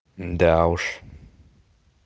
да уж